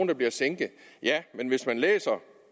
der bliver sænket ja men hvis man læser